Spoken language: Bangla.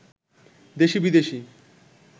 দেশি বিদেশি